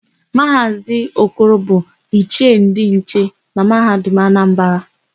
Maazị Okoro bụ Ichie ndị nche na Mahadum Anambara.